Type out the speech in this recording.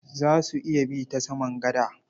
Za su iya bi ta saman gada.